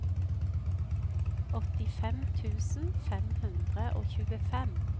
åttifem tusen fem hundre og tjuefem